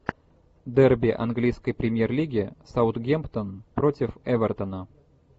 дерби английской премьер лиги саутгемптон против эвертона